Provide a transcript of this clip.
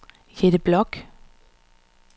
Jette Bloch